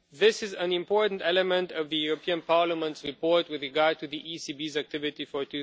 This is an important element of the European Parliament's report with regard to the ECB's activity for